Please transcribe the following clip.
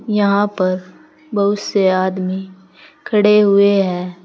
यहां पर बहुत से आदमी खड़े हुए हैं।